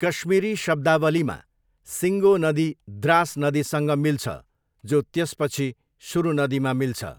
कश्मीरी शब्दावलीमा, सिङ्गो नदी द्रास नदीसँग मिल्छ, जो त्यसपछि सुरु नदीमा मिल्छ।